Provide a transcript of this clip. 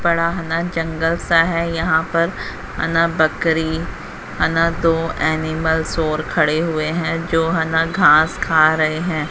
बड़ा हना जंगल सा है यहां पर आना बकरी आना दो एनिमल्स और खड़े हुए हैं जो हना घास खा रहे हैं।